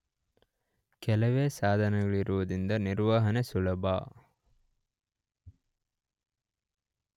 ಕೆಲವೇ ಸಾಧನಗಳಿರುವುದರಿಂದ ನಿರ್ವಹಣೆ ಸುಲಭ.